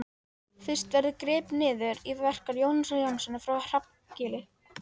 Fyrst verður gripið niður í verki Jónasar Jónassonar frá Hrafnagili.